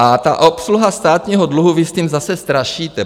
A ta obsluha státního dluhu, vy s tím zase strašíte.